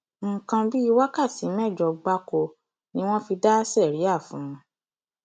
nǹkan bíi wákàtí mẹjọ gbáko ni wọn fi dá síríà fún un